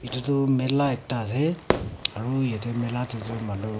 eto toh mela ekta ase aro yati mela tetoh manu.